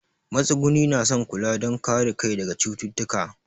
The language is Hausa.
Matsuguni na son kula don kare kai daga cututtuka.